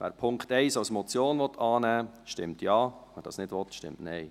Wer den Punkt 1 als Motion annehmen will, stimmt Ja, wer dies nicht will, stimmt Nein.